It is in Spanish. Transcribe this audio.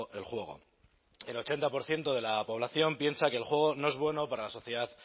el juego el ochenta por ciento de la población piensa que el juego no es bueno para la sociedad